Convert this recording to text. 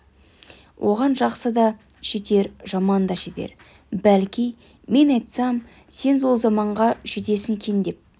оған жақсы да жетер жаман да жетер бәлки мен айтсам сен сол заманға жетсең екен деп